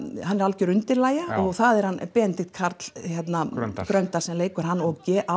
hann er algjör undirlægja og það er hann Benedikt Karl Gröndal sem leikur hann og á